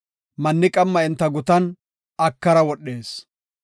Manni qamma enta gutan akara wodhees.